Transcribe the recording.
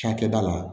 Cakɛda la